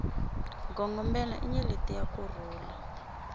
gongomelai nyeleti ya ku rhula